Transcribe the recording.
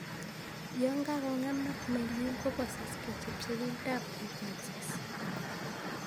Yan kakong'emak myelin, kobosoksei chepchepindab ab impulses